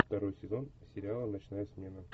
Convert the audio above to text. второй сезон сериала ночная смена